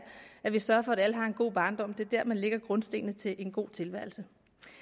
at vi sørger for at alle har en god barndom det er der man lægger grundstenene til en god tilværelse